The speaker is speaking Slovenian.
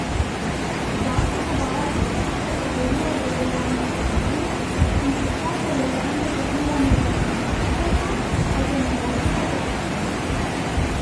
Zakon uvaja posebno kategorijo dovoljenja za bivanje, in sicer dovoljenje za bivanje za investitorja, kar je novost na Madžarskem.